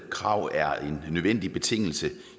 krav er en nødvendig betingelse